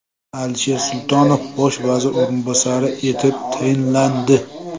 Alisher Sultonov bosh vazir o‘rinbosari etib tayinlandi.